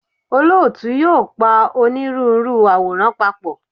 Olóòtú yóò pa onírúurú àwòrán papọ̀.